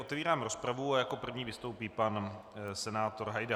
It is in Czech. Otevírám rozpravu a jako první vystoupí pan senátor Hajda.